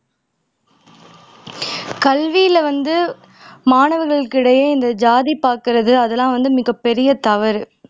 கல்வில வந்து மாணவர்களுக்கிடையே இந்த ஜாதி பாக்கிறது அதெல்லாம் வந்து மிகப்பெரிய தவறு